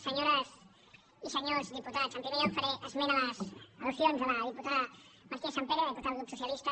senyores i senyors diputats en primer lloc faré esment a les al·diputada martínez sampere diputada del grup socialista